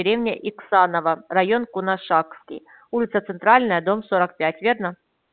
деревня иксанова район кунашакский улица центральная дом сорок пять верно